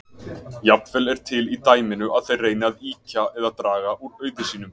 Jafnvel er til í dæminu að þeir reyni að ýkja eða draga úr auði sínum.